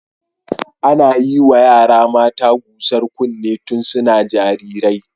Ana yiwa yara mata gusar kunne tun suna jarirai.